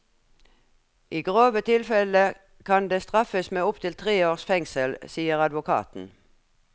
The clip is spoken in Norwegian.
I grove tilfeller kan det straffes med opptil tre års fengsel, sier advokaten.